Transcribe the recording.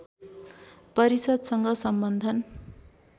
परिषद्सँग सम्बन्धन